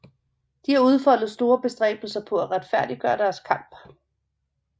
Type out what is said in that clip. De har udfoldet store bestræbelser på at retfærdiggøre deres kamp